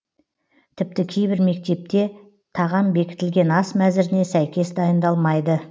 тіпті кейбір мектепте тағам бекітілген ас мәзіріне сәйкес дайындалмайды